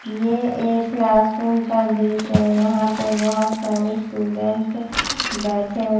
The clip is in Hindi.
यह एक क्लास रूम का दृश्य है यहां पे बहुत सारे स्टूडेंट बैठे हुए--